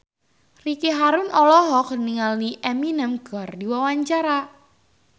Ricky Harun olohok ningali Eminem keur diwawancara